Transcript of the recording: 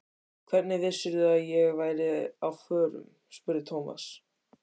Hvernig vissirðu að ég væri á förum? spurði Thomas.